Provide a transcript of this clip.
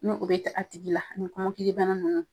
Ne o bɛ kɛ a tigi la ni kɔmɔkilibana nunnu